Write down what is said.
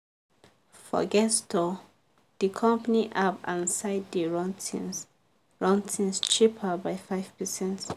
forget store di company app and site dey run things run things cheaper by 5%."